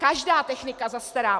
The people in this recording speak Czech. Každá technika zastará.